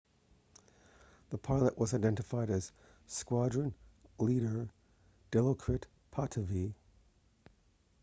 the pilot was identified as squadron leader dilokrit pattavee